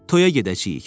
Toya gedəcəyik.